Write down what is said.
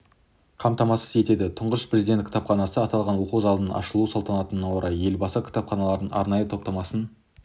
қамтамасыз етеді тұңғыш президент кітапханасы аталған оқу залының ашылу салтанатына орай елбасы кітаптарының арнайы топтамасын